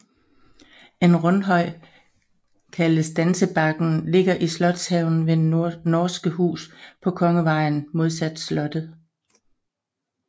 En rundhøj kaldet Dansebakken ligger i slotshaven ved Norske Hus på Kongevejen modsat slottet